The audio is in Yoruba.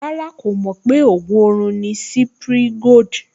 Rárá, kò mọ̀ pé ògùn orun ni Cipri Gold